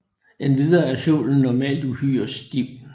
Endvidere er sålen normalt uhyre stiv